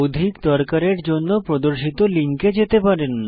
অধিক দরকারের জন্য প্রদর্শিত লিঙ্কে যেতে পারেন